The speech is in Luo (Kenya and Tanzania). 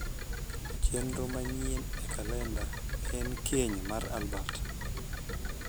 chenro manyien e kalenda en keny mar albert